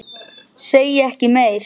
Segi ekki meir.